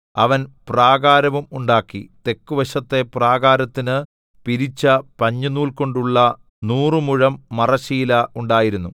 അവൻ പ്രാകാരവും ഉണ്ടാക്കി തെക്കുവശത്തെ പ്രാകാരത്തിന് പിരിച്ച പഞ്ഞിനൂൽ കൊണ്ടുള്ള നൂറ് മുഴം മറശ്ശീല ഉണ്ടായിരുന്നു